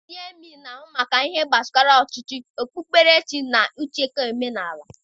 Ndị emịee na-ahụ maka ihe gbasara ọchịchị, okpukperechi, na ichekwa omenala.